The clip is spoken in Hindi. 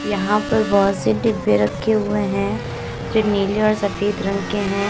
यहां पर बहोत से डीब्बे रखे हुए हैं जो नीले और सफेद रंग के हैं।